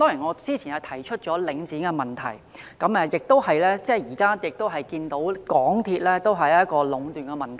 我早前提出領展的問題，而現在則看到港鐵同樣出現壟斷問題。